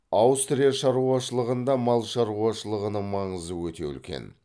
аустрия шаруашылығанды мал шаруашылығының маңызы өте үлкен